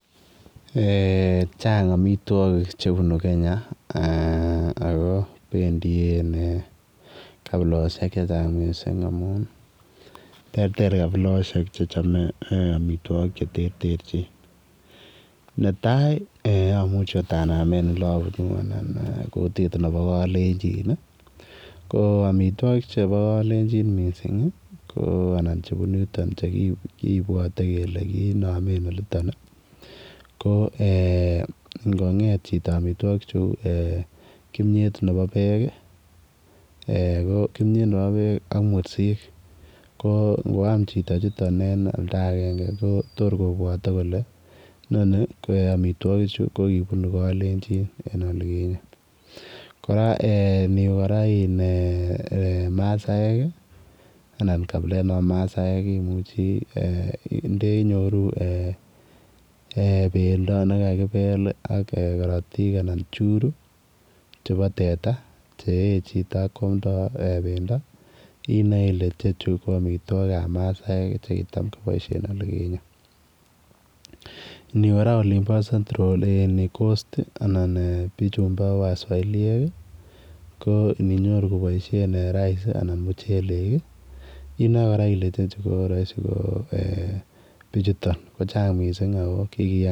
Eeh chaang amitwagik che bunu Kenya ako bendien kabilosiek che chaang amuun terter kabilosiek amuun chame amitwagik che terter jin ne tai amuchi akoot name en ole abunu anan ko kutiik nebo kalenjin ko amitwagik chebo kalenjin missing anan chebunu yutoon chekibuate kole kinameen olitoob ii ko Ingo get eeh chitoo amitwagik che uu eeh kimyeet nebo beek ii ak mursiik ko Ingo yaan chitoo en oldagei kotoor kobwate kole amitwagik chuu ko kibunuu kotaab kalenjin eng olikinyei kora eeh iniweeh iiin masaek anan kabileet nebo masaek imuchii nde nyoruu eeh bendo nekakibeel anan karotiik churuu chebo teta che eeh chitoo ak koyamdaa inae ile ichechu ko amitwagik ab masaek chekitaam kobaishen olikinyei iniweeh kora olimboo [Coast] anan bichuu bo waswaliek ii ko ininyoruu kobaishen rice anan ko muchelek inae kora ile raisi ko bichutoon ko hang missing ako kikiyaan .